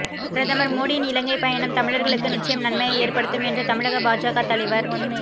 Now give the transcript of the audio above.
பிரதமர் மோடியின் இலங்கை பயணம் தமிழர்களுக்கு நிச்சயம் நன்மையை ஏற்படுத்தும் என்று தமிழக பாஜக தலைவர்